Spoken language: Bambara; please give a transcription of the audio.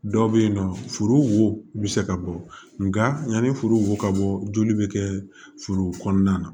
Dɔw bɛ yen nɔ furu wo bɛ se ka bɔ nka yanni foroko ka bɔ joli bɛ kɛ furu kɔnɔna na